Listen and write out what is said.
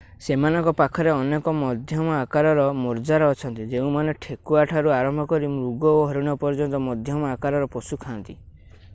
ସେମାନଙ୍କ ପାଖରେ ଅନେକ ମଧ୍ୟମ ଆକାରର ମାର୍ଜାର ଅଛନ୍ତି ଯେଉଁମାନେ ଠେକୁଆଠାରୁ ଆରମ୍ଭ କରି ମୃଗ ଓ ହରିଣ ପର୍ଯ୍ୟନ୍ତ ମଧ୍ୟମ ଆକାରର ପଶୁ ଖା'ନ୍ତି